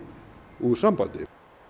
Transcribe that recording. úr sambandi